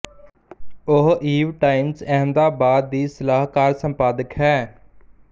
ਉਹ Eve Times Ahmedabad ਦੀ ਸਲਾਹਕਾਰ ਸੰਪਾਦਕ ਹੈ